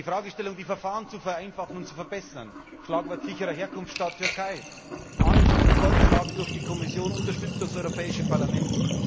Die Fragestellung, die Verfahren zu vereinfachen und zu verbessern, Schlagwort sicherer Herkunftsstaat Türkei, vorgeschlagen durch die Kommission, unterstützt durch das Europäische Parlament.